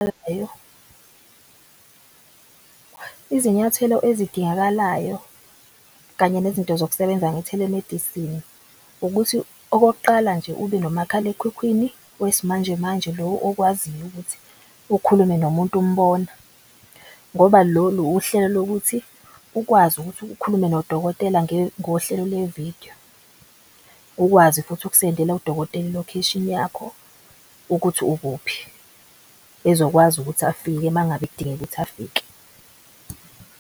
Izinyathelo ezidingakalayo kanye nezinto zokusebenza nge-telemedicine ukuthi okokuqala nje ube nomakhalekhukhwini wesi manje manje. Lo okwaziyo ukuthi ukhulume nomuntu umbona ngoba lolu uhlelo lokuthi ukwazi ukuthi ukhulume nodokotela ngohlelo lwevidiyo. Ukwazi futhi ukusendela udokotela ilokheshini yakho ukuthi ukuphi ezokwazi ukuthi afike mangabe kudingeka ukuthi afike.